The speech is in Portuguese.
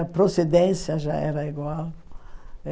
A procedência já era igual.